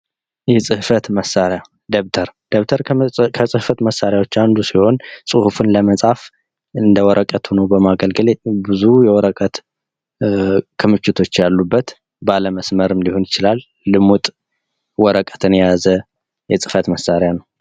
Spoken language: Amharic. የፅህፈት መሳሪያ ደብተር ከፅህፈት መሳሪያወች ውስጥ አንዱ ሲሆን ፅሁፍን ለመፅፍ እንደ ወረቅ ሁኖ በማገልገል ብዙ የወረቀት ክምችቶች ያሉበት ባለመስመርም ሊሆን ይችላል ልሙጥ ወረቀትን የያዘ የፅህፈት መሳሪያ ነው።